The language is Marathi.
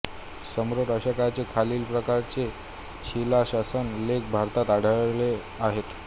सम्राट अशोकाचे खालील प्रकारचे शिलाशासन लेख भारतात आढळले आहेत